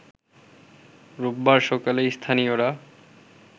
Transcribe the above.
রোববার সকালে স্থানীয়রা